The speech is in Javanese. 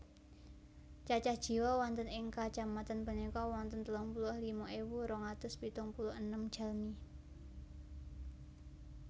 Cacah jiwa wonten ing kacamatan punika wonten telung puluh lima ewu rong atus pitung puluh enem jalmi